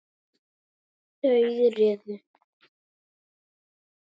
Þau réðu.